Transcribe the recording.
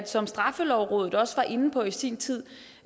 som straffelovrådet også var inde på i sin tid